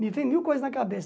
Me vem mil coisas na cabeça.